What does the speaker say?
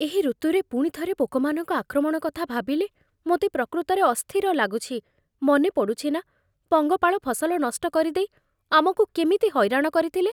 ଏହି ଋତୁରେ ପୁଣି ଥରେ ପୋକମାନଙ୍କ ଆକ୍ରମଣ କଥା ଭାବିଲେ ମୋତେ ପ୍ରକୃତରେ ଅସ୍ଥିର ଲାଗୁଛି। ମନେପଡ଼ୁଛି ନା, ପଙ୍ଗପାଳ ଫସଲ ନଷ୍ଟ କରିଦେଇ ଆମକୁ କେମିତି ହଇରାଣ କରିଥିଲେ?